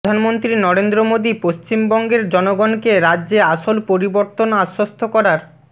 প্রধানমন্ত্রী নরেন্দ্র মোদী পশ্চিমবঙ্গের জনগণ কে রাজ্যে আসোল পোরিবুর্তনকে আশ্বস্ত করার